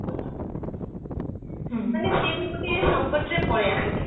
ତେଣୁ ସେ ବି ଗୋଟେ ସଙ୍କଟ ରେ ପଳେଈ ଆସୁଛି